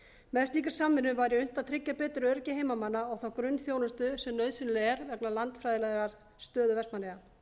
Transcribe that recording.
með slíkri samvinnu væri unnt að tryggja betur öryggi heimamanna og þá grunnþjónustu sem nauðsynleg er vegna landfræðilegrar stöðu vestmannaeyja